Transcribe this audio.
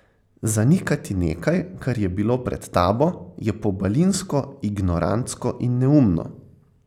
Zanikati nekaj, kar je bilo pred tabo, je pobalinsko, ignorantsko in neumno.